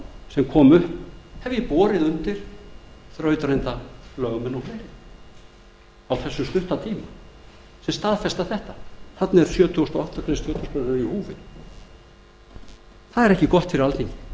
sem komu upp hef ég á þessum stutta tíma borið undir þrautreynda lögmenn og fleiri sem staðfesta að þarna er sjötugasta grein stjórnarskrárinnar í húfi það er ekki gott fyrir alþingi verið